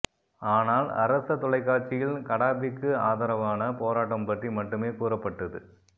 ஆனால் அரச தொலைக்காட்சியில் கடாபிக்கு ஆதரவான போராட்டம் பற்றி மட்டுமே கூறப்பட்டது